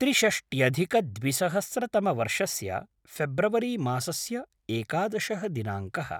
त्रिषष्ट्यधिक द्विसहस्रतमवर्षस्य ऴेब्रवरि मासस्य एकादशः दिनाङ्कः